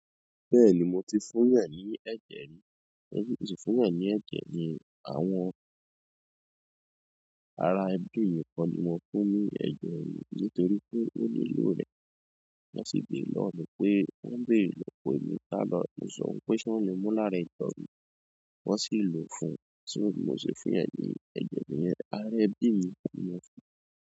Bẹ́ẹ̀ni mo ti fún yan ní ẹ̀jẹ̀ rí, mo ti fún yan ní ẹ̀jẹ̀ ni àwọn ara ẹbí mi kan ni mo fún mi ẹ̀jẹ̀ mi nítorí pé ó lilo rẹ̀. Wọ́n sì béèrè lọ́wọ́ mi pé wọ́n ń béèrè lọ pé mi tá lọ mo sọ wipé ṣé wọ́n le mú lára ẹ̀jẹ̀ mi, wọ́n sì lò ó fún un. So bi mo se fún yẹn ní ẹ̀jẹ̀ ni ará ẹbi mi ni mo fún.